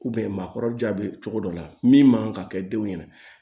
maakɔrɔja bɛ cogo dɔ la min man kan ka kɛ den ɲɛna